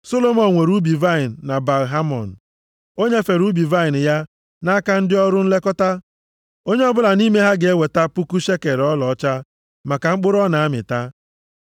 Solomọn nwere ubi vaịnị na Baal-Hamon, o nyefere ubi vaịnị ya nʼaka ndị ọrụ nlekọta. Onye ọbụla nʼime ha ga-eweta puku shekel ọlaọcha maka mkpụrụ ọ na-amịta. + 8:11 \+xt Mat 21:33\+xt*